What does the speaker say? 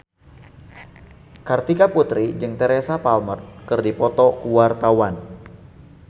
Kartika Putri jeung Teresa Palmer keur dipoto ku wartawan